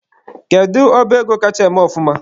Kedu ọba ego kacha eme ọfụma?